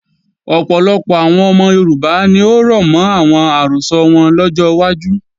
Ọ̀pọ̀lọpọ̀ àwọn ọmọ Yorùbá ni ó rọ̀mọ́ àwọn àrọ́sọ wọn lọ́jọ́ wájú